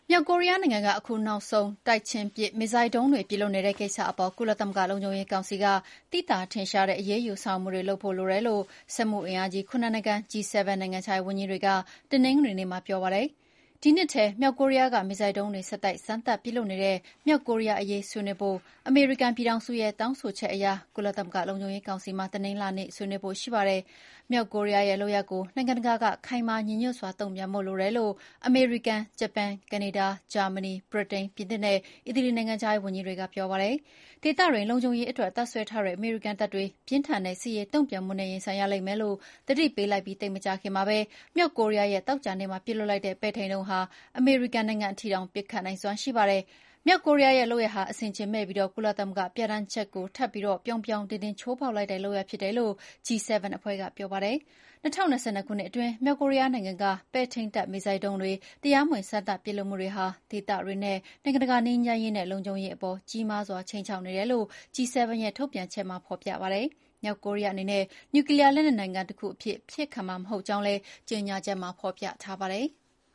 မြောက်ကိုရီးယားနိုင်ငံက အခုနောက်ဆုံး တိုက်ချင်း ပစ်မစ်ဇိုင်းဒုံးတွေ ပစ်လွှတ်နေတဲ့ကိစ္စအပေါ် ကုလသမဂ္ဂလုံခြုံရေးကောင်စီက သိသာထင်ရှားတဲ့ အရေးယူဆောင်ရွက်မှုတွေလုပ်ဖို့ လိုတယ်လို့ စက်မှုအင်အားကြီး ၇ နိုင်ငံ၊(G7) နိုင်ငံခြားရေးဝန်ကြီးတွေက တနင်္ဂနွေနေ့မှာ ပြောပါတယ်။ ဒီနှစ်ထဲ မြောက်ကိုရီးယားက မစ်ဇိုင်းဒုံးတွေ ဆက်တိုက် စမ်းသပ်ပစ်လွှတ်နေတဲ့အရေး ဆွေးနွေးဖို့ အမေရိကန်ပြည်ထောင်စုရဲ့တောင်းဆိုချက်အရ ကုလသမဂ္ဂ လုံခြုံရေးကောင်စီမှာ တနင်္လာနေ့ ဆွေးနွေးဖို့ရှိပါတယ်။ မြောက်ကိုရီးယားရဲ့လုပ်ရပ်ကို နိုင်ငံတကာက ခိုင်မာညီညွှတ်စွာ တုန့်ပြန်ဖို့လိုတယ်လို့ အမေရိကန်၊ ဂျပန်၊ ကနေဒါ၊ ဂျာမဏီ၊ ဗြိတိန်၊ ပြင်သစ်နဲ့ အီတလီ နိုင်ငံခြားရေးဝန်ကြီးတွေကပြောပါတယ်။ ဒေသတွင်းလုံခြုံရေးအတွက် တပ်စွဲထားတဲ့ အမေရိကန်တပ်တွေ ပြင်းထန်တဲ့ စစ်ရေးတုံ့ပြန်မှုနဲ့ ရင်ဆိုင်ရလိမ့်မယ်လို့ သတိပေးလိုက်ပြီး သိပ်မကြာခင်မှာပဲ မြောက်ကိုရီးယား က သောကြာနေ့မှာပစ်လွှတ်လိုက်တဲ့ ပဲ့ထိန်းဒုံးဟာ အမေရိကန်နိုင်ငံအထိ ပစ်ခတ်နိုင်စွမ်းရှိပါတယ်။ မြောက်ကိုရီးယားရဲ့ လုပ်ရပ်ဟာ အဆင်အခြင်မဲ့ပြီး ကုလသမဂ္ဂပြဌာန်းချက်ကို ထပ်ပြီးပြောင်ပြောင်တင်းတင်းချိုးဖောက်လိုက်တဲ့လုပ်ရပ်ဖြစ်တယ်လို့လည်း G7 အဖွဲ့ကပြောပါတယ်။ ၂၀၂၂ ခုနှစ်အတွင်း မြောက်ကိုရီးယားနိုင်ငံက ပဲ့ထိန်းတပ် မစ်ဇိုင်းဒုံးတွေ တရားမဝင် စမ်းသပ်ပစ်လွှတ်မှုတွေဟာ ဒေသတွင်းနဲ့ နိုင်ငံတကာငြိမ်းချမ်းရေး၊ လုံခြုံရေးအပေါ် ကြီးမားစွာခြိမ်းခြောက်နေတယ်လို့ G7 ရဲ့ထုတ်ပြန်ချက်မှာ ဖော်ပြပါတယ်။ မြောက်ကိုရီးယားအနေနဲ့ နျူကလီးယားလက်နက်ပိုင်နိုင်ငံတခုအဖြစ် အဖြစ်ခံမှာ မဟုတ်ကြောင်းလည်း ကြေညာချက်မှာ ဖော်ပြထားပါတယ်။